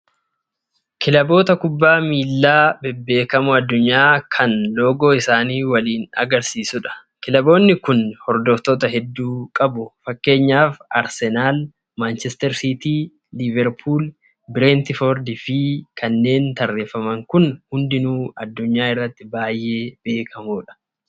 Kilaboota kubbaa miillaa bebbeekamoo addunyaa kan loogoo isaanii waliin agarsiisudha. Kilaboonni Kun hordoftoota hedduu qabu. Fakkeenyaaf Arsenaal, Maanchister siitii, Liiverpuul, Bireentifoordi fi kanneen tarreeffaman kun hundinuu addunyaa irratti baay'ee beekamoodha.